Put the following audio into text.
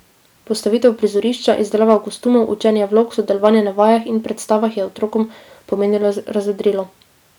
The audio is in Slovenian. Postavitev prizorišča, izdelava kostumov, učenje vlog, sodelovanje na vajah in predstavah je otrokom pomenilo razvedrilo.